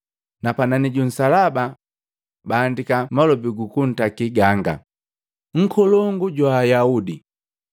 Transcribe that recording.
Na panani ju nsalaba baandiki malobi gu kuntaki ganga, “NKOLONGU JWA AYAUDI.”